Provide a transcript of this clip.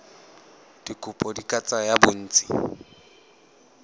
dikopo di ka tsaya bontsi